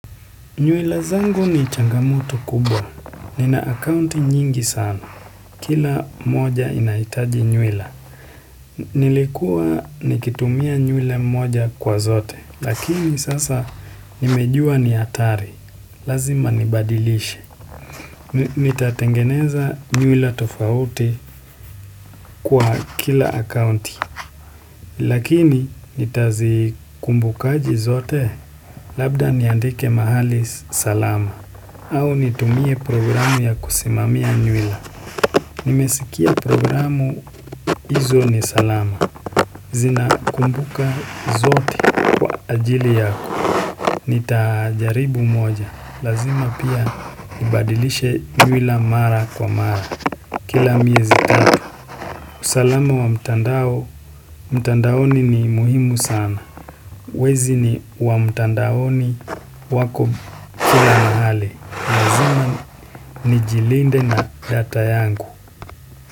Nywila zangu ni changamoto kubwa, nina akaunti nyingi sana, kila moja inaitaji nywila. Nilikuwa nikitumia nywila moja kwa zote, lakini sasa nimejua ni hatari, lazima nibadilishe. Nitatengeneza nywila tofauti kwa kila akaunti, lakini nitazikumbukaje zote, labda niandike mahali salama. Au nitumie programu ya kusimamia nywila. Nimesikia programu izo ni salama. Zina kumbuka zote kwa anjili yangu. Nitajaribu moja. Lazima pia nibadilishe nywila mara kwa mara. Kila miezi tatu. Usalama wa mtandao, mtandaoni ni muhimu sana. Wezi wa mtandaoni wako kila mahali. Lazima nijilinde na data yangu.